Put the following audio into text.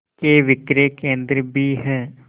के विक्रय केंद्र भी हैं